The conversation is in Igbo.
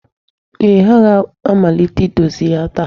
Ee, ha ga-amalite idozi ya taa.